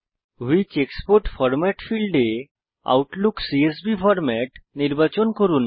which export format ফীল্ডে Outlook CSV format নির্বাচন করুন